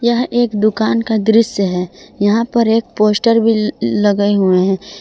यह एक दुकान का दृश्य है यहा पर एक पोस्टर ल लगाए हुए है।